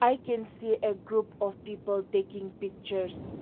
i can see a group of people taking pictures.